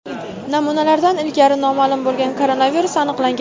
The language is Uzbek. namunalardan ilgari noma’lum bo‘lgan koronavirus aniqlangan.